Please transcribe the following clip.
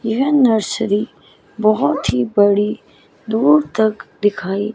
यह नर्सरी बहोत ही बड़ी दूर तक दिखाई--